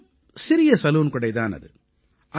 மிகவும் சிறிய சலூன்கடை தான் அது